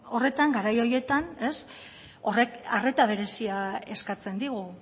horretan garai horietan horrek arreta berezia eskatzen digu